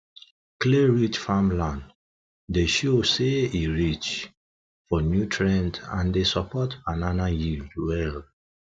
clayrich farmland dey show say e rich for nutrient and dey support banana yield well